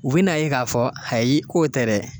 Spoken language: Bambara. U be n'a ye k'a fɔ ayi k'o tɛ dɛ